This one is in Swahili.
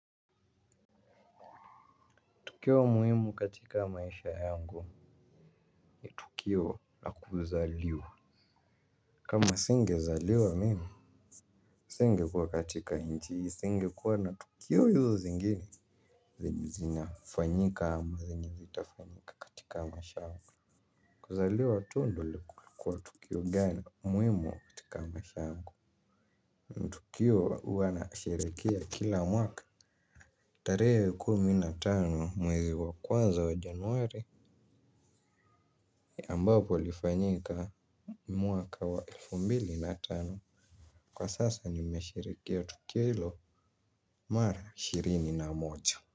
Tukio muhimu katika maisha yangu ni tukio la kuzaliwa. Kama singezaliwa mimi singekuwa katika nchi hii singekuwa na tukio hizo zingine. Zenye zinafanyika ama zenye zitafanyika katika maisha yhangu. Kuzaliwa tu ndio lilikua tukio gani muhimu katika maisha yangu. Tukio hua nasherehekea kila mwaka. Tarehe ya kumi na tano mwezi wa kwanza wa januari. Ni ambapo ilifanyika. Mwaka wa elfu mbili na tano kwa sasa nimesherehekea tukio hilo mara ishirini na moja.